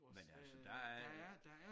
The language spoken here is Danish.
Men altså der er